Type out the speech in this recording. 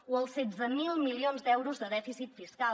o els setze mil milions d’euros de dèficit fiscal